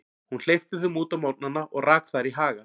Hún hleypti þeim út á morgnana og rak þær í haga.